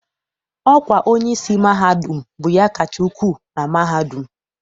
Ọkwa onyeisi mahadum bụ ya kacha ukwu na mahadum.